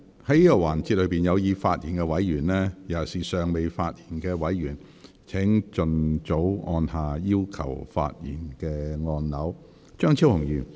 在這個環節中有意發言的委員，尤其是尚未發言的委員，請盡早按下"要求發言"按鈕。